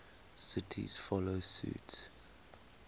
cities follow suit